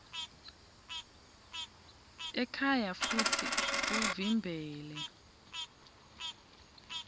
ekhaya futsi uvimbele